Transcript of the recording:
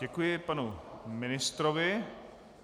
Děkuji panu ministrovi.